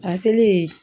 A selen